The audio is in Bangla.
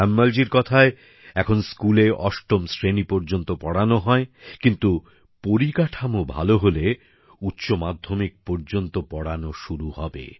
তায়ম্মলজীর কথায় এখন স্কুলে অষ্টম শ্রেণি পর্যন্ত পড়ানো হয় কিন্তু পরিকাঠামো ভালো হলে উচ্চমাধ্যমিক হাইর সেকেন্ডারি পর্যন্ত পড়ানো শুরু হবে